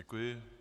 Děkuji.